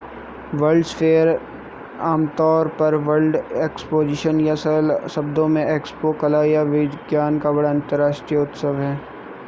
world's fair आमतौर पर world exposition या सरल शब्दों में एक्सपो कला और विज्ञान का बड़ा अंतरराष्ट्रीय उत्सव है